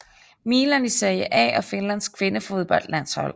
Milan i Serie A og Finlands kvindefodboldlandshold